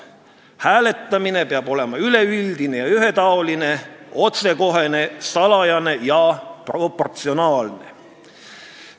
Hääletamine peab olema üleüldine ja ühetaoline, otsekohene, salajane ja proportsionaalne.